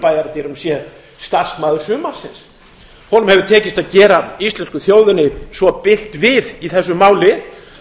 bæjardyrum séð starfsmaður sumarsins honum hefur tekist að gera íslensku þjóðinni svo bylt við í þessu máli